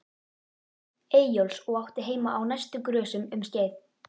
Eyjólfs og átti heima á næstu grösum um skeið.